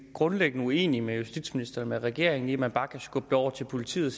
grundlæggende uenige med justitsministeren og med regeringen i at man bare kan skubbe det over til politiet